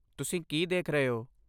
ਤੁਸੀਂ ਕੀ ਦੇਖ ਰਹੇ ਹੋ?